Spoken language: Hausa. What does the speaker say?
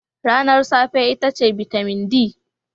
Ranar safe itace bitamin D.